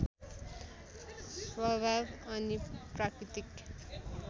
स्वभाव अनि प्राकृतिक